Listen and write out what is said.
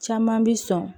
Caman bi sɔn